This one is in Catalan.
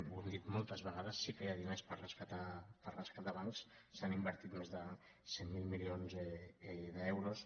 ho hem dit moltes vegades sí que hi ha diners per rescatar bancs s’hi han invertit més de cent miler milions d’euros